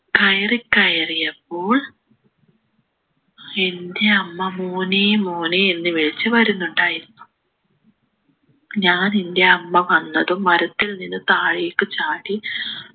കയറി കയറിയപ്പോൾ എൻ്റെ അമ്മ മോനെ മോനെ എന്ന് വിളിച്ചു വരുന്നുണ്ടായിരുന്നു ഞാൻ എൻ്റെ അമ്മ വന്നതും മരത്തിൽ നിന്ന് താഴേക്ക് ചാടി